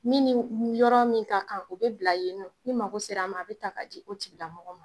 Min ni yɔrɔ min ka kan, o bɛ bila yen , ni mago sera a ma , a bɛ ta ka di o tigilamɔgɔ ma.